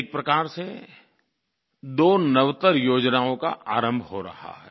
एक प्रकार से दो नवतर योजनाओं का आरम्भ हो रहा है